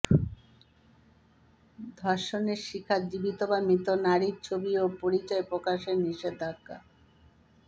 ধর্ষণের শিকার জীবিত বা মৃত নারীর ছবি ও পরিচয় প্রকাশে নিষেধাজ্ঞা